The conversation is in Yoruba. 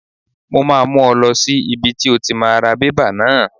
Mo máa mú ọ lọ sí ibi tí o ti máa ra bébà náà.